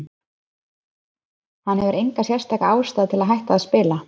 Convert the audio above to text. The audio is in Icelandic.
Hann hefur enga sérstaka ástæðu til að hætta að spila.